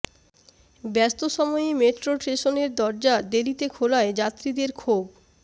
ব্যস্ত সময়ে মেট্রোর স্টেশনের দরজা দেরিতে খোলায় যাত্রীদের ক্ষোভ